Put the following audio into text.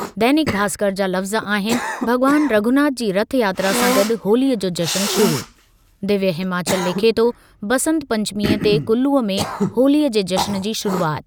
दैनिक भास्कर जा लफ़्ज़ आहिनि- भॻवान रघुनाथ जी रथयात्रा सां गॾु होलीअ जो जश्न शुरू। दिव्य हिमाचल लिखे थो-बंसत पंचमीअ ते कुल्लू में होलीअ जे जश्न जी शुरूआति।